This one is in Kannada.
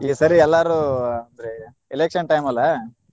ಈ ಸರಿ ಎಲ್ಲಾರು ಅಂದ್ರೆ election time ಅಲ್ಲಾ.